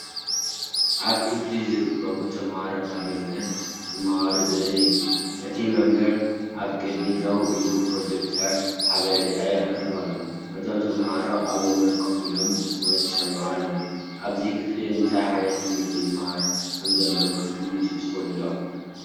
ኣብ ክፍሊ ዝርከቡ ተማሃሮ ካብ መምህር ክመሃሩ ዘርኢ እዩ። እቲ መምህር ኣብ ቅድሚት ደው ኢሉ ብፕሮጀክተር ሓበሬታ የቕርብ ኣሎ። እቶም ተማሃሮ ኣብ ወንበር ኮፍ ኢሎም ብትኹረት ይሰምዑ ኣለዉ። ኣብዚ ክፍሊ እንታይ ዓይነት ትምህርቲ ይምሃር ከምዘሎ ክትግምቱ ትኽእሉ ዶ?